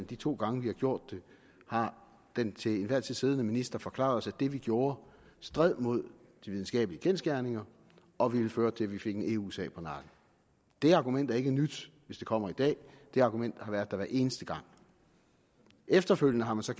de to gange vi har gjort det har den til enhver tid siddende minister forklaret os at det vi gjorde stred mod de videnskabelige kendsgerninger og ville føre til at vi fik en eu sag på nakken det argument er ikke nyt hvis det kommer i dag det argument har været der hver eneste gang efterfølgende har man så